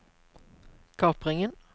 kapringen